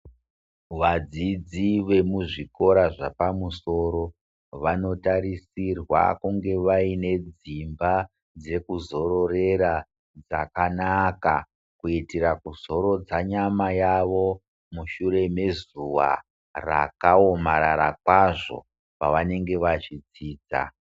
Vadzidzi vemuzvikora zvapamusoro, vanotarisirwa kunge vaine dzimba dzekuzororera dzakanaka kuitira kuzorodza nyama yavo mushure mezuva rakaomarara kwazvo pavanenge vachidzidza.